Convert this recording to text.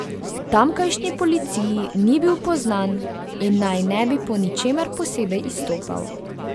Tamkajšnji policiji ni bil poznan in naj ne bi po ničemer posebej izstopal.